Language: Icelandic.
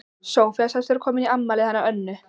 Soffía sagðist vera komin í afmælið hennar Önnu.